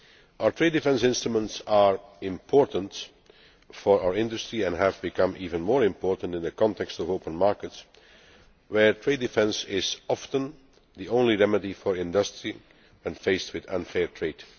Our trade defence instruments are important for our industry and have become even more important in the context of open markets, where trade defence is often the only remedy for industry when faced with unfair trade.